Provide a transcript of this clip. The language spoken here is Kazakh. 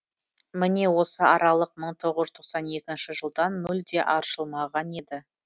міне осы аралық мың тоғыз жүз тоқсан екінші жылдан мүлде аршылмаған еді